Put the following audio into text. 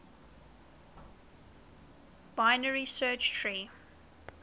binary search tree